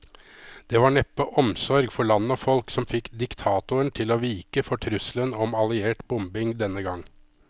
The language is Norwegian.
Det var neppe omsorg for land og folk som fikk diktatoren til å vike for trusselen om alliert bombing denne gang.